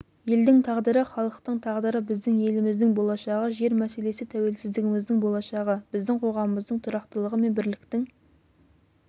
елдің тағдыры халықтың тағдыры біздің еліміздің болашағы жер мәселесі тәуелсіздігіміздің болашағы біздің қоғамымыздың тұрақтылығы мен бірліктің